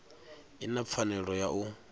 i na pfanelo ya u